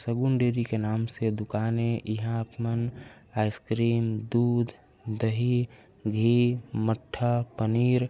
शगुन dairy के नाम से दुकान ए इहाँ आप मन आइस क्रीम दूध दही घी मट्ठा पनीर--